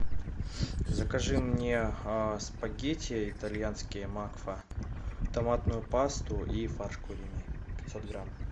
закажи мне спагетти итальянские макфа томатную пасту и фарш куриный пятьсот грамм